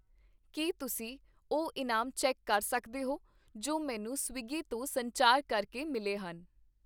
ਕੀ ਤੁਸੀਂਂ ਉਹ ਇਨਾਮ ਚੈੱਕ ਕਰ ਸਕਦੇ ਹੋ ਜੋ ਮੈਨੂੰ ਸਵਿਗੀ ਤੋਂ ਸੰਚਾਰ ਕਰ ਕੇ ਮਿਲੇ ਹਨ ?